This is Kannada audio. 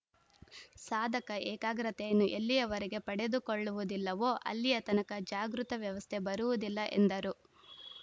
ಸಾಧಕ ಏಕಾಗ್ರತೆಯನ್ನು ಎಲ್ಲಿಯವರೆಗೆ ಪಡೆದುಕೊಳ್ಳುವುದಿಲ್ಲವೋ ಅಲ್ಲಿಯತನಕ ಜಾಗೃತ ವ್ಯವಸ್ಥೆ ಬರುವುದಿಲ್ಲ ಎಂದರು